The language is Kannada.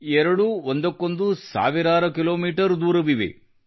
ಎರಡೂ ಒಂದಕ್ಕೊಂದು ಸಾವಿರಾರು ಕೀ ಮೀ ದೂರವಿವೆ